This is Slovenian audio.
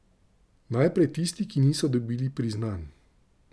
Najprej tisti, ki niso dobili priznanj.